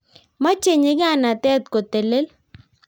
meche nyikanatet kotelel